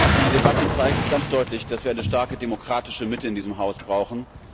Diese Debatte zeigt ganz deutlich, dass wir eine starke demokratische Mitte in diesem Haus brauchen.